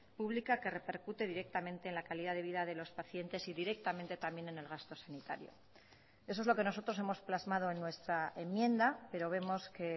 pública que repercute directamente en la calidad de vida de los pacientes y directamente también en el gasto sanitario eso es lo que nosotros hemos plasmado en nuestra enmienda pero vemos que